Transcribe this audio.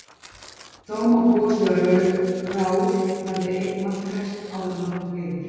Þó má búast við að Raul verði einn markahæstur áður en langt um líður.